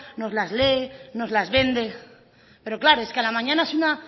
nos las lee nos las vende pero claro es que a la mañana es una